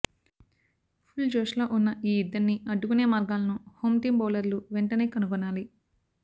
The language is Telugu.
ఫుల్జోష్లో ఉన్న ఈ ఇద్దరినీ అడ్డుకునే మార్గాలను హోమ్టీమ్ బౌలర్లు వెంటనే కనుగొనాలి